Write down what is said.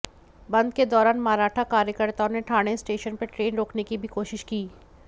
बंद के दौरान मराठा कार्यकर्ताओं ने ठाणे स्टेशन पर ट्रेन रोकने की भी कोशिश की